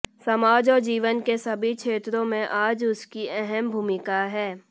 समाज और जीवन के सभी क्षेत्रों में आज उसकी अहम भूमिका है